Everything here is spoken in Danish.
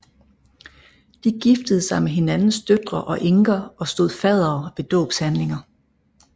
De giftede sig med hinandens døtre og enker og stod faddere ved dåbshandlinger